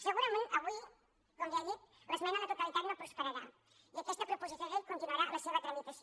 segurament avui com ja he dit l’esmena a la totalitat no prosperarà i aquesta proposició de llei continuarà la seva tramitació